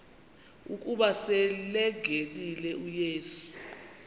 ukuba selengenile uyesu